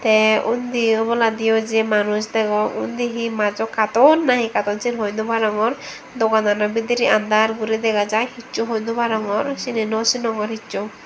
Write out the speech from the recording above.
te undi oboladi u j manuj degong undi he majo carton nahi carton sin hoi no parongor doganano bidiri under guri dega jay hichu hoi no parongor cini nw sinongor hichu.